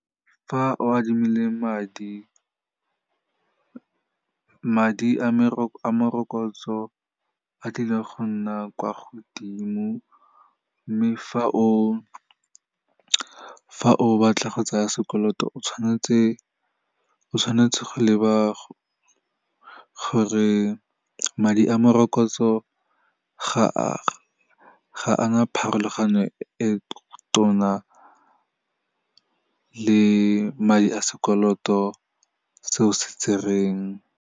Fa o adimile madi, madi a morokotso a tlile go nna kwa godimo, mme fa o batla go tsaya sekoloto, o tshwanetse go leba gore madi a morokotso ga ana pharologano e tona le madi a sekoloto seo se tsereng.